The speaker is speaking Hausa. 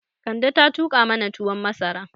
Kande ta tuƙa mana tuwon masara